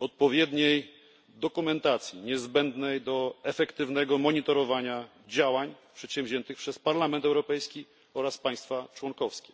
odpowiedniej dokumentacji, niezbędnej do efektywnego monitorowania działań podjętych przez Parlament Europejski oraz państwa członkowskie.